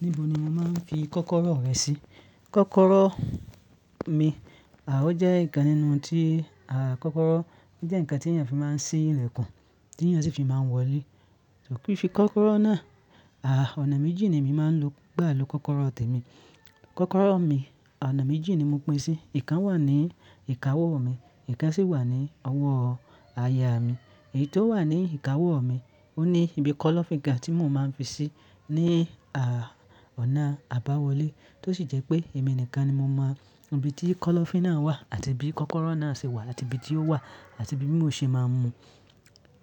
Níbo ni o màá n fi kọ́kọ́rọ́ rẹ sí? Kọ́kọ́rọ́ mi, àó jẹ́ ǹkan nínú tí, à kọ́kọ́rọ́ jẹ́ ǹkan tí èèyàn fi máa ń ṣí ilẹ̀kùn, tí èèyàn sì fi máa ń wọ lé. Ko kin se kọ́kọ́rọ́ náà, à ọ̀nà méjì ni èmi máa ń lò gbà ló kọ́kọ́rọ́ tẹ̀ mí. Kọ́kọ́rọ́ mi, ọ̀nà méjì ni mo pín sí, ìkan wà ní ìkáwó mi, ìkan sì wà ní ọwọ́ àyà mi. Èyí tó wà ní ìkáwó mi, ó ní ibi kọ́lọ́fín kan tí mò máa ń fi sí ní à ọ̀nà àbáwọlé. Tó sì jẹ́ pé èmi nìkan ni mo mọ ibi tí kọ́lọ́fín náà wà àti bí kọ́kọ́rọ́ náà ṣe wà àti ibi tí ó wà àti bí mó ṣe máa ń mu.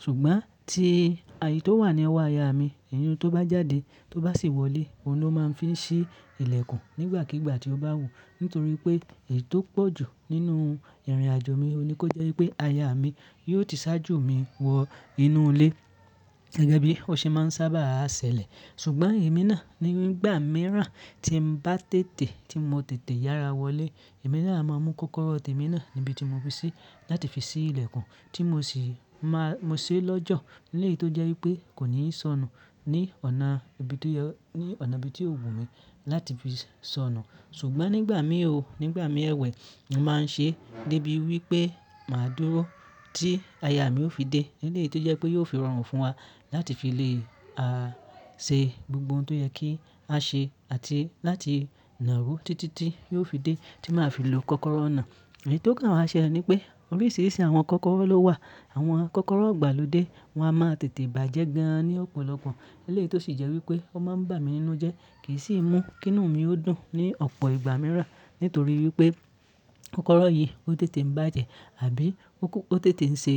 Ṣùgbọ́n tí èyí tó wà ní ọwọ́ àyà mi, èyí un tó bá jáde, tó bá sì wọlé, òun ló máa ń fi ṣí ilẹ̀kùn nígbàkígbà tí ó bá wù. Nítorí pé èyí tó pọ̀ jù nínú ìrìnàjò mi, òun ni kó jẹ́ wípé àyà mi yóò ti ṣáájù mi wọ inú ilé. Gẹ́gẹ́ bí ó ṣe máa ń sábà á ṣẹlẹ̀. Ṣùgbọ́n èmi náà nígbà mìíràn tí ń bá tètè tí mo tètè yára wọlé, èmi náà a máa mú kọ́kọ́rọ́ tẹ̀ mí náà níbi tí mo fi sí láti fi ṣí ilẹ̀kùn tí mo sì máa mó ṣé lọ́jọ́. Léyìí tó jẹ́ wípé kò ní sọnù ní ọ̀nà ibi tó yẹ, ní ọ̀nà ibi tí ò wù mi láti fi sọnù. Ṣùgbọ́n nígbà mìí ooo, nígbà mi ẹ̀wẹ̀, mo máa ń ṣe débi wípé màá dúró tí àyà mi ó fi dé. Léyìí tó jẹ́ pé yóò fi rọrùn fún wa láti fi lè a ṣe gbogbo ohun tó yẹ kí á ṣe àti láti nàro títítí yóò fi dé tí màá fi lò kọ́kọ́rọ́ náà. Èyí tó kàn wá ṣẹle ní pé oríṣiríṣi àwọn kọ́kọ́rọ́ ló wà. Àwọn kọ́kọ́rọ́ ìgbàlódé, wọn a máa tètè bàjẹ́ gan an ní ọ̀pọ̀lọpọ̀. Léyìí tó sì jẹ́ wípé ó máa ń bà mí nínú jẹ́ kì í sì mú kìnú mi ó dùn ní ọ̀pọ̀ ìgbà mìíràn. Nítorí wípé kọ́kọ́rọ́ yìí ó tètè ń bàjẹ́ àbí ó kú ó tètè ń ṣe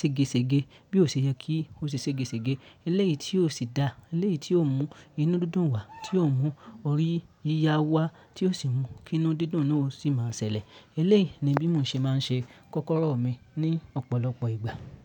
segeṣege bí ó ṣe yẹ kí ó ṣe segeṣege. Léyìí tí ó sì dá, léyìí tí ó mú inú dídùn wá, tí ó mú orí yíyá wá, tí ó sì mú kìnu dídùn náà o sì máa ṣẹlẹ̀. Eléyìí ni bí mó ṣe máa ń ṣe kọ́kọ́rọ́ mi ní ọ̀pọ̀lọpọ̀ ìgbà.